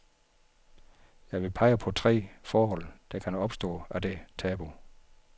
Jeg vil pege på tre forhold, der kan opstå af det tabu.